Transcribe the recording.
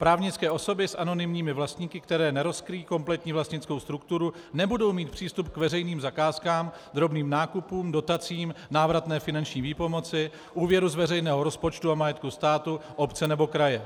Právnické osoby s anonymními vlastníky, které nerozkryjí kompletní vlastnickou strukturu, nebudou mít přístup k veřejným zakázkám, drobným nákupům, dotacím, návratné finanční výpomoci, úvěru z veřejného rozpočtu a majetku státu, obce nebo kraje.